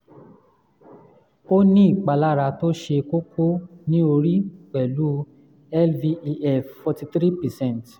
ó ní ìpalára tó ṣe kókó ní orí pẹ̀lú lvef forty three percent.